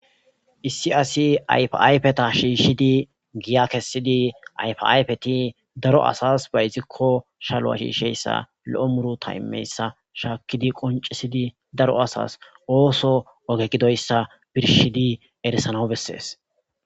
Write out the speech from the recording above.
Issi asi ayphayphetha shishiddi giya kessidi ayphaphaayfethi daro assas bayizikko shallo hisheyssa lo'o muruththa imiyaysa shakkidi konccisidi daro asas ooso oge gidoyssa birshshidi erissanaw besses.